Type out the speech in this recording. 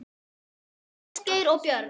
Ólöf, Ásgeir og börn.